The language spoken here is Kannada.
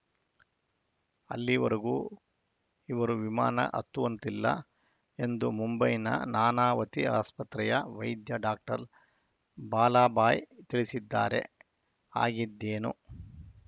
ಅಲ್ಲಿವರೆಗೂ ಇವರು ವಿಮಾನ ಹತ್ತುವಂತಿಲ್ಲ ಎಂದು ಮುಂಬೈನ ನಾನಾವತಿ ಆಸ್ಪತ್ರೆಯ ವೈದ್ಯ ಡಾಕ್ಟರ್ ಬಾಲಾಭಾಯಿ ತಿಳಿಸಿದ್ದಾರೆ ಆಗಿದ್ದೇನು